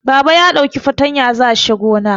Baba ya ɗauki fatanya za shi gona